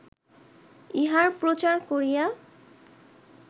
ইহার প্রচার করিয়া